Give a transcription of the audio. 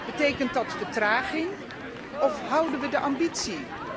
Betekent dat vertraging of houden wij de ambitie?